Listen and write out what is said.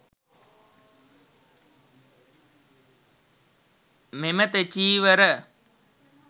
මෙම තෙචීවර